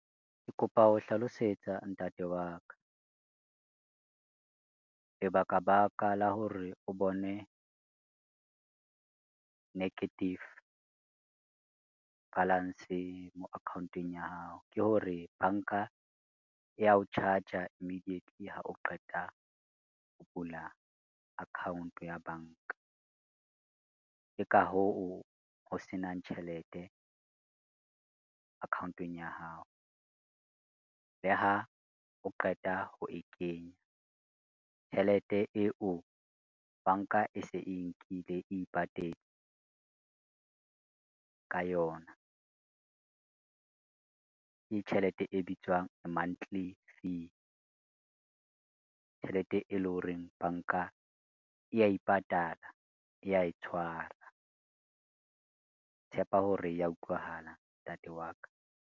Ke kopa ho hlalosetsa ntate wa ka, lebaka baka la hore o bone, negative balance mo account-ong ya hao ke hore banka ya o charge-a immediately ha o qeta ho bula account ya banka. Ke ka hoo ho se nang tjhelete account-ong ya hao, le ha o qeta ho e kenya tjhelete eo banka e se e nkile ipatetse ka yona. Ke tjhelete e bitswang monthly fee, tjhelete e lo horeng banka e ya ipatala e ya e tshwara, tshepa hore ya utlwahala ntate wa ka.